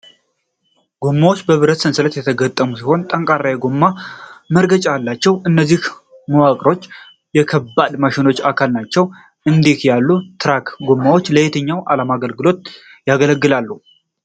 ጎማዎቹ በብረት ሰንሰለት የተገጠሙ ሲሆን፣ ጠንካራ የጎማ መርገጫ አላቸው። እነዚህ መዋቅሮች የከባድ ማሽነሪ አካል ናቸው። እንዲህ ያሉ ትራክ ጎማዎች ለየትኛው ዓላማ ያገለግላሉ?